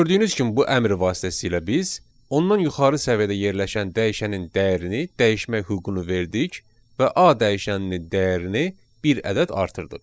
Və gördüyünüz kimi bu əmr vasitəsilə biz ondan yuxarı səviyyədə yerləşən dəyişənin dəyərini dəyişmək hüququnu verdik və A dəyişəninin dəyərini bir ədəd artırdıq.